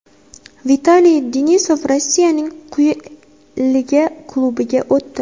Vitaliy Denisov Rossiyaning quyi liga klubiga o‘tdi.